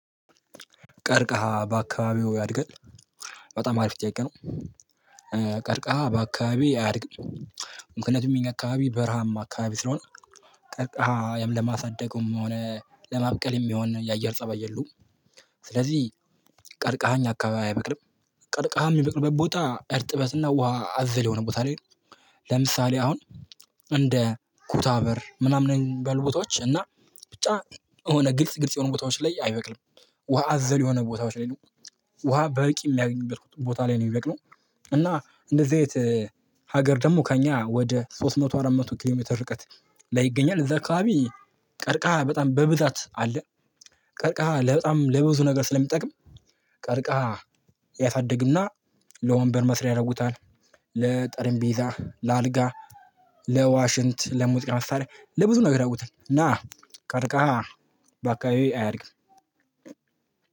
ቀርቀሃ በአካባቢዎ ያድግል? በጣም አሪፍ ጥያቄ ነው ቀርቀሃ በአካባቢውየ አያድግም ምክንያቱም እኛ አካባቢ በረሃም አካባቢ ስለሆነ ቀርቃሃ ያም ለማሳደግም ሆነ ለማብቀልም የሆነ የአየር ፀባይ የሉም ስለዚህ ቀርቃሃኝ አካባቢ አይበቅልም ቀርቃሃም የሚበቅርበት ቦታ እርጥበትና ውሃ አዘል የሆነ ቦታ ላይ ነው ለምሳሌ አሁን እንደኩታበር ምናምን የሚበሉ ቦታዎች እና ብቻ የሆነ ግልጽ ግልጽ የሆኑ ቦታዎች ላይ አይበቅም ውሃ አዘል የሆነ ቦታዎች ላይ ነው ውሃ በቂ የሚያገኙበት ቦታ ላይ ነው የሚበቅነው እና እንደዚህ አይነት ሀገር ደግሞ ከእኛ ወደ ሶስት መቶ አራት መቶ ኪሎ ሜትር ርቀት ላይ ይገኛል እዛ አካባቢ ቀርቃሃ በጣም በብዛት አለ ቀርቃሃ በጣም ለብዙ ነገር ስለሚጠቅም ቀርቃሃ ያሳድግና ለወንበር መስሪያ ያደርጉታል ለጠረንቢዛ ለአልጋ ለዋሽንት ለሙዚቃ መሳሪያ ለብዙ ነገር ያደረጉታል ና ቀርቃሃ በአካባቢየ አያድግም።